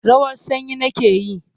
Rawar sanyi nake yi.